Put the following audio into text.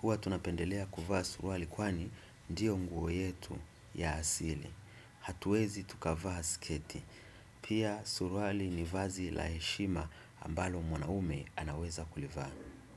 Hua tunapendelea kuvaa suruali kwani ndiyo nguo yetu ya asili. Hatuwezi tukavaa sketi. Pia suruali ni vazi la heshima ambalo mwanaume anaweza kulivaa.